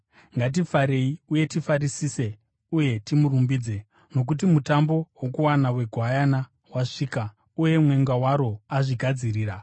Ngatifarei uye tifarisise uye timurumbidze! Nokuti mutambo wokuwana weGwayana wasvika, uye mwenga waro azvigadzirira.